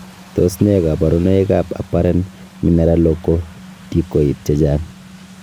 Tos nee koborunoikab Apparent mineralocorticoid chechang' ?